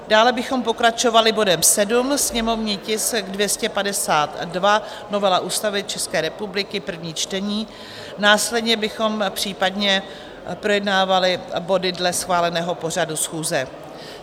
Dále bychom pokračovali bodem 7, sněmovní tisk 252, novela Ústavy České republiky, první čtení, následně bychom případně projednávali body dle schváleného pořadu schůze.